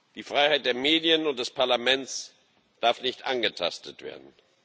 Die Freiheit der Medien und des Parlaments darf nicht angetastet werden.